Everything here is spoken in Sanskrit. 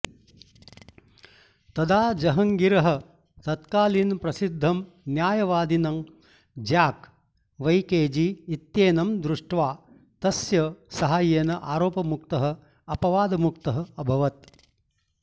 तदा जहङ्गीरः तत्कालीनप्रसिद्धं न्यायवादिनं ज्याक् वैकेजि इत्येनं दृष्ट्वा तस्य साहाय्येन आरोपमुक्तः अपवादमुक्तः अभवत्